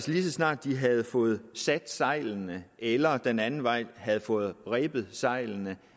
lige så snart de havde fået sat sejlene eller den anden vej havde fået rebet sejlene